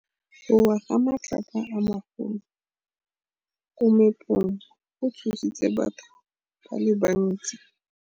Go wa ga matlapa a magolo ko moepong go tshositse batho ba le bantsi.